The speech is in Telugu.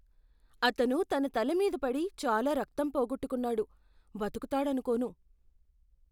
అతను తన తల మీది పడి చాలా రక్తం పోగొట్టుకున్నాడు. బతుకుతాడనుకోను.